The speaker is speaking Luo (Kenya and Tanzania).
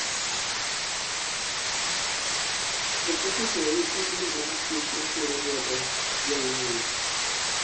oketo seyi ei bil mar chik masiro lwedo jo ng'anyo